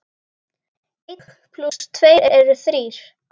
Einn plús tveir eru þrír.